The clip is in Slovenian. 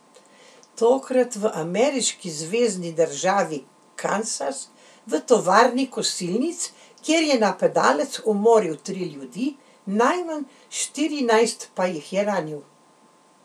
Tokrat v ameriški zvezni državi Kansas, v tovarni kosilnic, kjer je napadalec umoril tri ljudi, najmanj štirinajst pa jih je ranil.